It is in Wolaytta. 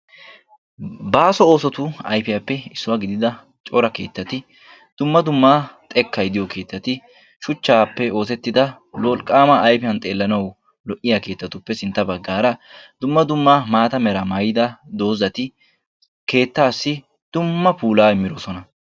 Baasso oosotu ayfiyaappe issuwa gididda cora keettatti dumma dumma xekkay diyo keettatti dumma dummaayfiyan xeelanawu lo'iya keetattinne matan diya dozati keettaassi dumma puulaa immidosona.